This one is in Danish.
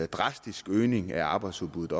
drastisk øgning af arbejdsudbuddet